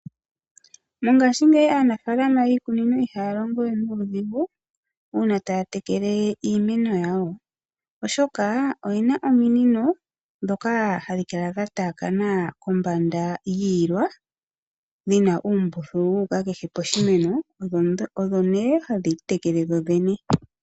Mongaashingeyi aanafalama yiikunino ihaya longo we nuudhigu uuna taya tekele iimeno yawo, oshoka oye na ominino ndhoka hadhi kala dha taya kana kombanda yiilwa dhina uumbululu wu uka ku kehe oshimeno, odhi nee hadhi tekele yi tekele dho dhene.